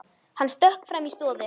Hann stökk fram í stofu.